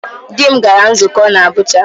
Di m gara nzukọ n'Abụja.